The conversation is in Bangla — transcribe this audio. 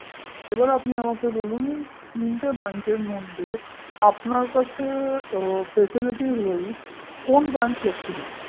এবার আপনি আমাকে বলুন তিনটে bank র মধ্যে আপনার কাছে faciliteswise কোন bankflexible